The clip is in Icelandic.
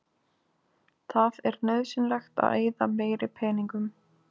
Það er nauðsynlegt að eyða meiri peningum.